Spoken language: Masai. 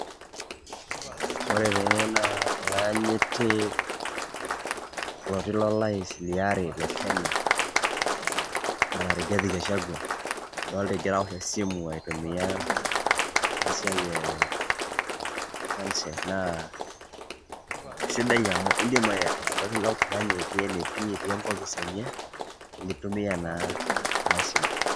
Ore tene naa olaanyiti, oloti lo rais liare le kenya, bwana Rigathi Gachagua. Adolta egira awosh esimu, aitumia enasiai e phone cell ,naa isidai amu iidim ira oltung'ani otii enetii, otii enkopis enye, nitumia naa enasimu.